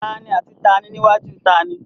Taàní àti taàní níwájú taàní?